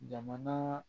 Jamana